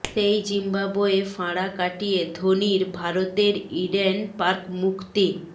সেই জিম্বাবোয়ে ফাঁড়া কাটিয়ে ধোনির ভারতের ইডেন পার্ক মুক্তি